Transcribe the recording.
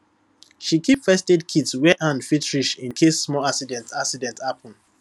she keep firstaid kit where hand fit reach in case small accident accident happen